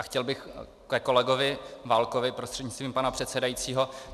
A chtěl bych ke kolegovi Válkovi prostřednictvím pana předsedajícího.